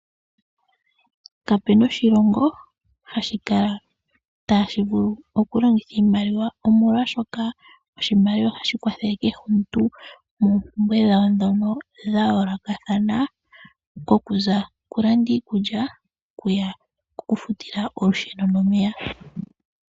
Kapuna oshilongo hashi kala itaashi vulu okukala ongaashi longitha oshimaliwa , omolwaashoka oshimaliwa ohashi kwathele kehe omuntu moompumbwe dhawo ndhono dhayoolokathana ngaashi okulanda iikulya nokufuta omeya nolusheno.